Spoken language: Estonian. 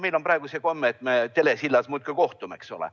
Meil on praegu see komme, et me telesilla vahendusel muudkui kohtume, eks ole.